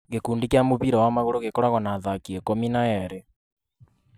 Gĩkundi Kia mũbira Wa magũrũ gĩkoragwo Na athaki ikũmi Na eerĩ.